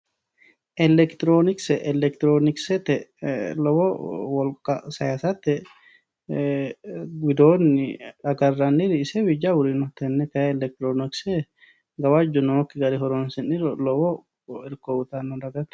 Electronkse elektronksete lowo wolka sayisate widooni agaraniwi isewii jawori no tene kayi elektronkse gawajjo nookiha horonsiniro lowo irko uyitano dagate.